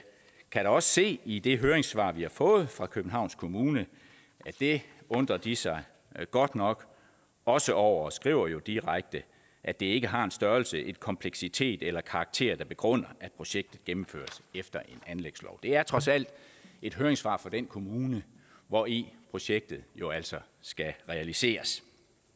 kan da også se i det høringssvar vi har fået fra københavns kommune at det undrer de sig godt nok også over og de skriver jo direkte at det ikke har en størrelse en kompleksitet eller en karakter der begrunder at projektet gennemføres efter en anlægslov det er trods alt et høringssvar fra den kommune hvori projektet jo altså skal realiseres